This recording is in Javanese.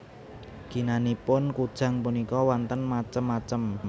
Ginanipun kujang punika wonten macem macem